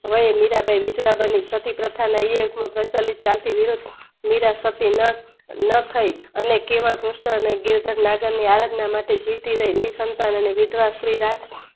વયે મીરાંબાઈ વિજર બની પતિપ્રથા ના હયેર પૂર પ્રચલિત મિરસ્તી નથઈ અને કેવા દૃષ્ટ અને ગિરધર ના આરાધના માટે જીવતીરય નિજ સંતાન અને વિધવા સ્ત્રી રાજ